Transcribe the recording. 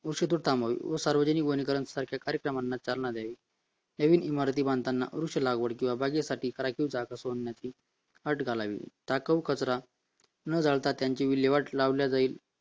व सार्वजनिक वनीकरण अशा कार्यक्रमांना चालना द्यावी नवीन इमारत बांधताना वृक्ष लागवड किंवा बागेसाठी जागा सोडण्यात यावी अट घालावी टाकाऊ कचरा न जाता त्यांचे विल्हेवाट लावता जाईल